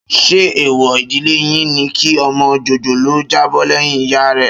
Ṣé èèwọ̀ ìdílé yín ni kí ọmọ jòjòló jábọ́ lẹ́yìn ìyá rẹ̀?